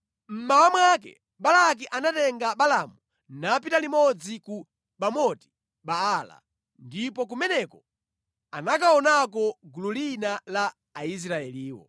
Mmawa mwake Balaki anatenga Balaamu napita limodzi ku Bamoti Baala, ndipo kumeneko anakaonako gulu lina la Aisraeliwo.